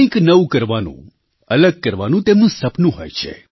કંઈક નવું કરવાનું અલગ કરવાનું તેમનું સપનું હોય છે